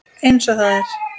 Eins og það er.